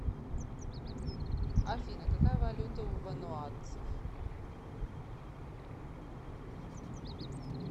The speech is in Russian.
афина какая валюта у вануатцев